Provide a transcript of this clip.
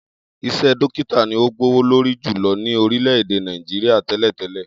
Is̩é̩ dókítà ni ó gbówó lórí jùlo̩ ní orílè̩-èdè Nàìjíríà té̩lè̩té̩lè̩